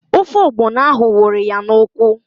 Ofe ọgbọnọ ahụ wụrụ ya n'ụkwụ